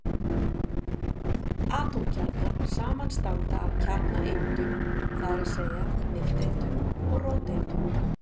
Atómkjarnar samanstanda af kjarnaeindum, það er að segja nifteindum og róteindum.